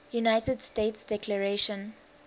united states declaration